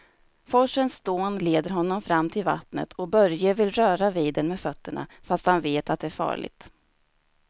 Forsens dån leder honom fram till vattnet och Börje vill röra vid det med fötterna, fast han vet att det är farligt.